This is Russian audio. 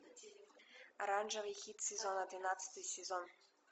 оранжевый хит сезона двенадцатый сезон